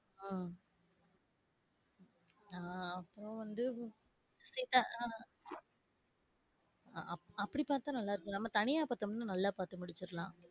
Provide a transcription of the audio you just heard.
ஆஹ் ஆ அவவந்து ஆஹ் அப்டி பாத்தா நல்லா இருக்காது நம்ம தனியா பாத்தோம்னா நல்லா பார்த்து முடிச்சிடலாம்